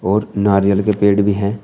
और नारियल के पेड़ भी है।